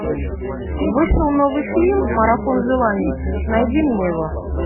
вышел новый фильм марафон желаний найди мне его